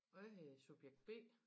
Og jeg hedder subjekt B